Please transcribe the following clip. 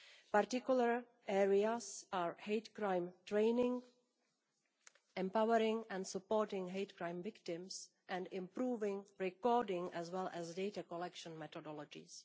Particular areas of attention include hate crime training, empowering and supporting hate crime victims, and improving recording, as well as data collection and methodologies.